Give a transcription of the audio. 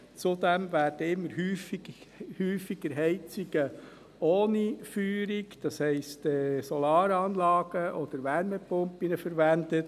Zudem werden immer häufiger Heizungen ohne Feuerung – das heisst Solaranlagen oder Wärmepumpen – verwendet.